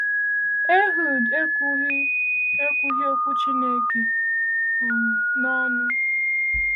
Ehud ekwughị ekwughị okwu Chineke um n’ọnụ.